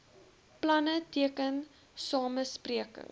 planne teken samesprekings